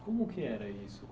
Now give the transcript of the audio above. Como que era isso?